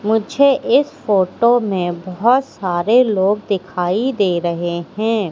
मुझे इस फोटो में बहोत सारे लोग दिखाई दे रहे हैं।